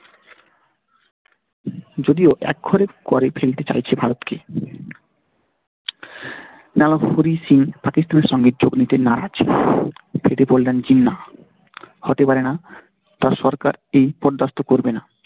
যদিও এক করে ফেলতে চাইছে ভারতকে। পাকিস্তানের সঙ্গে যোগ দিতে না পারে এটি বললেন জিনা হতে পারেনা তার সরকার এটি বরদাস্ত করবে না।